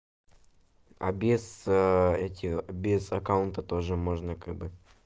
а без этих без аккаунта тоже можно как бы